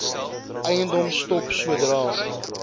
eiendom stop sodra